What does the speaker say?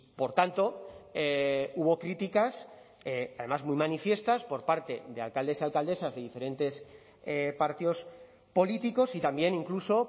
por tanto hubo críticas además muy manifiestas por parte de alcaldes y alcaldesas de diferentes partidos políticos y también incluso